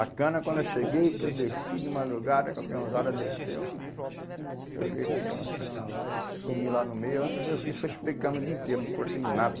A cana, quando eu cheguei, que eu desci de madrugada, a usada desceu, eu olhei para aquela cana lá, eu sumi lá no meio, a única coisa que eu fiz foi chupei a cana o dia inteiro, não cortei nada.